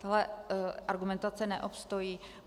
Tahle argumentace neobstojí.